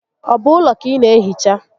Ọ bụ ụlọ ka ị naa ehicha?